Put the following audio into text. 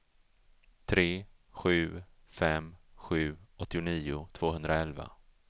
tre sju fem sju åttionio tvåhundraelva